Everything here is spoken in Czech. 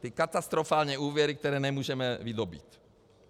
Ty katastrofální úvěry, které nemůžeme vydobýt.